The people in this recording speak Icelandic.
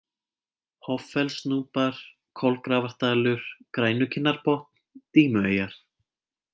Hoffellsnúpar, Kolgrafardalur, Grænukinnarbotn, Dímueyjar